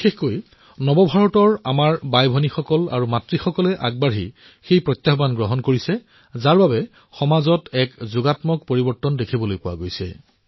বিশেষকৈ নতুন ভাৰতৰ আমাৰ ভগ্নী আৰু মাতৃসকলে প্ৰত্যাহ্বানসমূহ গ্ৰহণ কৰাৰ ফলত সমাজত ধনাত্মক পৰিৱৰ্তন দেখিবলৈ পোৱা গৈছে